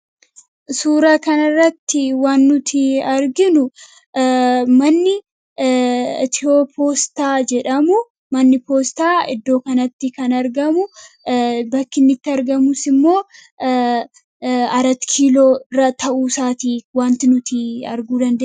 suura kana irratti waan nuti arginu manni Itiyopostaa jedhamu manni poostaa iddoo kanatti kan argamu . Bakki innitti argamus immoo aratikiiloo irra ta'uu isaatii wanti nuti arguu dandeenyu.